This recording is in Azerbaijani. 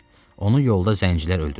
Onu yolda zəngilər öldürüblər.